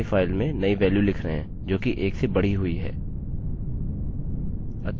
फिर हम अपनी नई फाइल में नई वेल्यू लिख रहे हैं जोकि 1 से बढ़ी हुई है